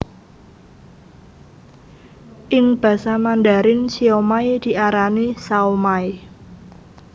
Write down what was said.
Ing basa Mandarin siomai diarani shaomai